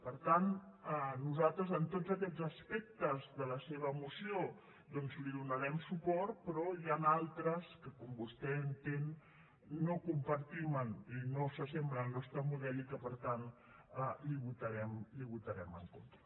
per tant nosaltres en tots aquests aspectes de la seva moció doncs li donarem suport però n’hi ha d’altres que com vostè entén no compartim i no s’assemblen al nostre model i que per tant li votarem en contra